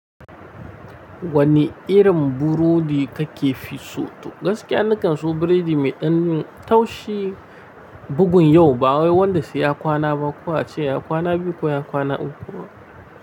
Wani irin burodi ka ke fi so to? Gaskiya na kan so buredi mai ɗanin taushi bugun yau, ba wai wanda sai ya kwana ba, ko a ce ya kwana biyu ko ya kwana uku ba.